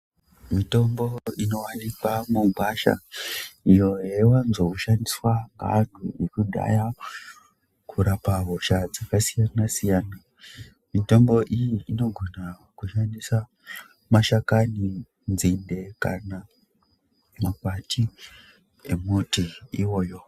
Mitombo inowanikwa mugwasha iyo yaiwanzoshandiswa naanu wekudhaya kurapa hosha dzakasiyana siyana mitombo iyi inogona kushandisa mashakani nzinde kana makwati emuti iwoyo.